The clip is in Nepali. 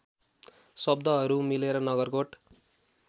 शब्दहरू मिलर नगरकोट